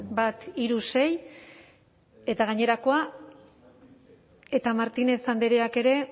bat hiru sei eta gainerakoa eta martínez andreak ere